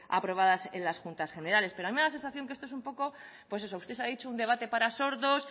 aprobadas en las juntas generales pero a mí me da la sensación que esto es un poco pues eso usted ha dicho un debate para sordos